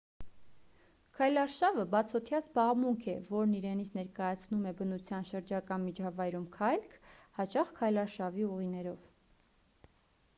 քայլարշավը բացօդյա զբաղմունք է որն իրենից ներկայացնում է բնության շրջակա միջավայրում քայլք հաճախ քայլարշավի ուղիներով